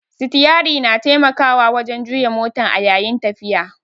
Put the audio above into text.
Sitiyari na taimakawa wajan juya motan a yayin tafiya